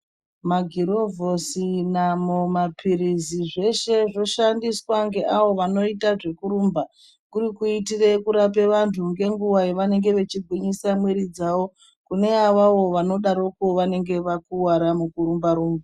Magirovhosi namo mapirizi zveshe zvoshandiswa ngeawo vanoita zvekurumba kuri kurape antu ngenguwa dzavanenge veigwinyia mwiri dzawo kune avavo vanodaro vanenge vakuwara nekurumba rumba.